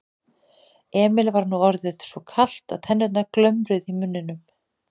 Emil var nú orðið svo kalt að tennurnar glömruðu í muninum.